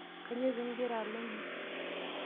Kanyoo pii igira alo inji?